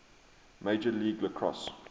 major league lacrosse